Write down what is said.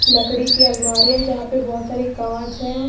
लकड़ी की अलमारी है जहां पे बोहोत सारे कांच है।